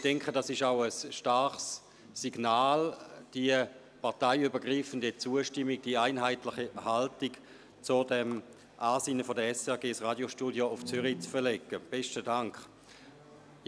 Ich denke, diese parteienübergreifende Zustimmung und die einheitliche Haltung gegenüber dem Ansinnen der SRG, das Radiostudio nach Zürich zu verlegen, ist auch ein starkes Signal.